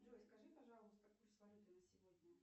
джой скажи пожалуйста курс валюты на сегодня